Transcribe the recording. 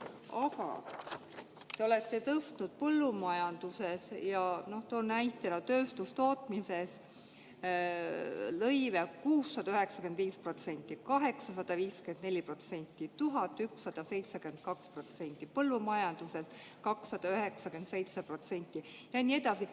" Aga te olete tõstnud põllumajanduses – toon näitena tööstustootmise – lõive 695%, 854%, 1172%, põllumajanduses 297%, ja nii edasi.